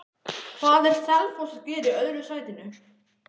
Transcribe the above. Hvað er Selfoss að gera í öðru sætinu?